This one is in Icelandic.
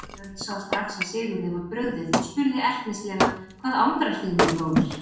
Björn sá strax að Sigurði var brugðið og spurði ertnislega:-Hvað angrar þig nú bróðir?